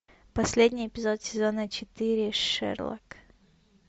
последний эпизод сезона четыре шерлок